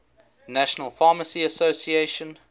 national pharmacy association